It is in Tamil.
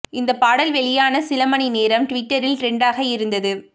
இந்த பாடல் வெளியான சில மணி நேரம் டுவிட்டரில் டிரெண்டாக இருந்தது